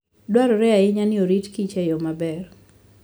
Dwarore ahinya ni orit kich e yo maber.